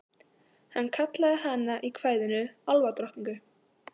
Hann kallaði hana í kvæðinu álfadrottningu.